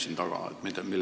Millele te vihjate?